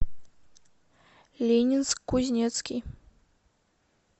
ленинск кузнецкий